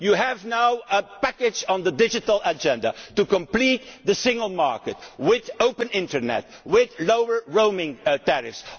You now have a package on the digital agenda to complete the single market with open Internet, with lower roaming tariffs.